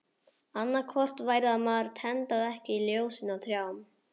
Annað hvort væri að maður tendraði ekki ljósin á trjánum.